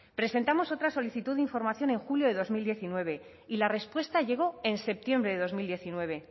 presentamos otra solicitud de información en julio de dos mil diecinueve y la respuesta llegó en septiembre de dos mil diecinueve